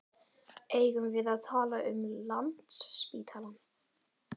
Eigum við að tala um Landspítalann?